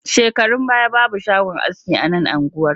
Shekarun baya babu shagon aski a nan unguwar